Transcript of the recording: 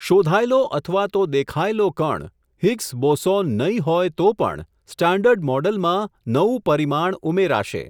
શોધાયેલો અથવા તો દેખાએલો કણ, હિગ્સ બોસોન નહીં હોય તો પણ, સ્ટાન્ડર્ડ મોડલમાં નવું પરિમાણ ઉમેરાશે.